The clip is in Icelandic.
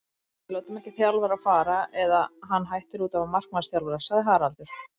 Við látum ekki þjálfara fara, eða hann hættir útaf markmannsþjálfara, sagði Haraldur.